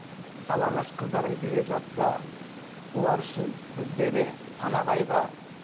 жалаңаш қыздарың билеп жатса олар үшін бізде де сана қайғы